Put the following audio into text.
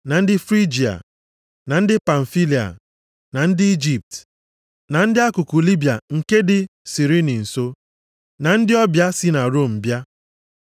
ndị Frigia, na ndị Pamfilia, na ndị Ijipt, na ndị akụkụ Libiya nke dị Sirini nso, na ndị ọbịa si na Rom bịa